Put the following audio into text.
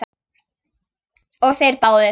Og þeir báðir.